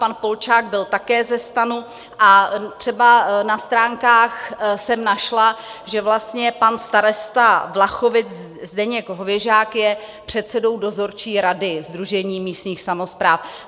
Pan Polčák byl také ze STANu a třeba na stránkách jsem našla, že vlastně pan starosta Vlachovic Zdeněk Hověžák je předsedou Dozorčí rady Sdružení místních samospráv.